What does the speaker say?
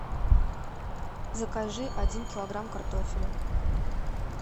закажи один килограмм картофеля